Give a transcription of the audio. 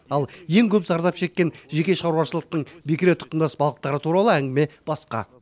ал ең көп зардап шеккен жеке шаруашылықтың бекіре тұқымдас балықтары туралы әңгіме басқа